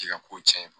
K'i ka ko cɛn